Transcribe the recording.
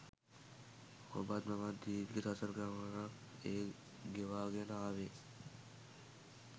ඔබත් මමත් දීර්ඝ සසර ගමනක් ඒ ගෙවාගෙන ආවෙ.